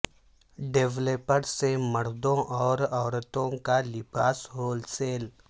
developer سے مردوں اور عورتوں کا لباس ہول سیل